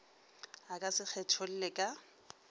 a ka se kgetholle ka